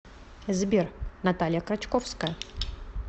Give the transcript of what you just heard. сбер наталья крачковская